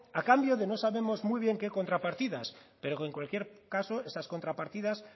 a cambio de no sabemos muy bien qué contrapartidas pero que en cualquier caso esas contrapartidas